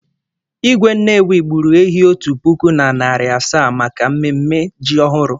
Igwe Nnewi gburu ehi otu puku na narị asaa maka mmemme ji ọhụrụ.